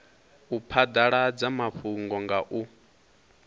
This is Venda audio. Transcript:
u phadaladza mafhungo nga u